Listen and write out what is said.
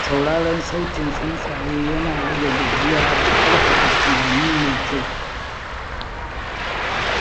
Sauraron sautin tsuntsaye yana rage gajiya da ƙarfafa tunani mai kyau.